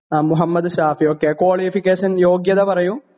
അ Muhammad Shafi okay qualification യോഗ്യത പറയൂ